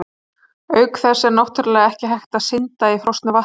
Auk þess er náttúrlega ekki hægt að synda í frosnu vatni!